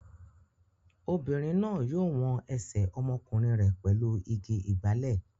Obìnrin náà yóò wọn ẹsẹ̀ ọmọkùnrin rẹ̀ pẹ̀lú igi ìgbálè.